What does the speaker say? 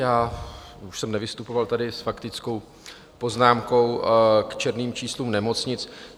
Já už jsem nevystupoval tady s faktickou poznámkou k černým číslům nemocnic.